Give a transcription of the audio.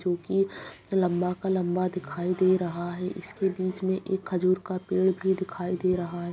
जोकि लंबा का लंबा दिखाई दे रहा है इसके बीच में एक खजूर का पेड़ भी दिखाई दे रहा है।